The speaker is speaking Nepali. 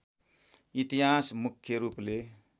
इतिहास मुख्य रूपले